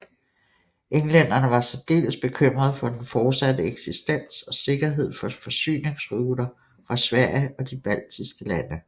Englænderne var særdeles bekymrede for den fortsatte eksistens og sikkerhed for forsyningsruter fra Sverige og de baltiske lande